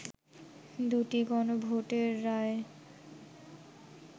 দু’টি গণভোটের রায়